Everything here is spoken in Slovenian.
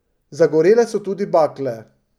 Zagorele so tudi bakle.